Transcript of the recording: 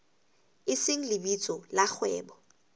e seng lebitso la kgwebo